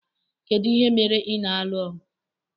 Kedu ihe mere ị na-alụ ọgụ?